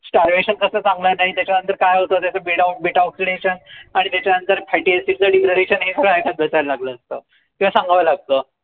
कस सांगणार नाई त्याच्या अंदर काय होत त्याच Beta Beta oxidation आणि त्याच्या नंतर लागलं असत किंव्हा सांगावं लागत